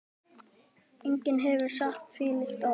Enginn hefur sagt þvílík orð.